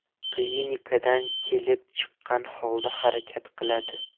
Klinikadan kelib chiqqan holda harakat qiladi.